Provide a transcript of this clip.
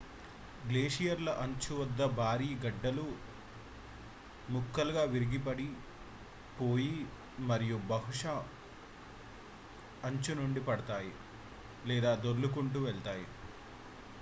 గ్లేసియర్ల అంచు వద్ద భారీ గడ్డలు ముక్కలుగా విరిగి పడిపోయి మరియు బహుశా అంచు నుండి పడతాయి లేదా దొల్లుకుంటూ వెళ్తాయి